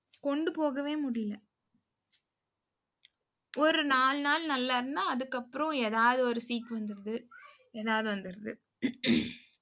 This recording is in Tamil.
கொண்டு போகவே முடியலை. ஒரு நாலு நாள் நல்லா இருந்தா, அதுக்கப்புறம் ஏதாவது ஒரு சீக்கு வந்திருது. ஏதாவது வந்திருது